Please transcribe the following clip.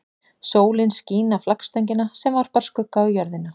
Sólin skín á flaggstöngina sem varpar skugga á jörðina.